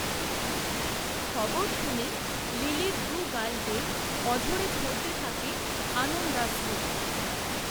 খবর শুনে লিলির দুগাল বেয়ে, অঝোরে ঝরতে থাকে, আনন্দাশ্রু